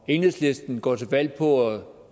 og enhedslisten går til valg på at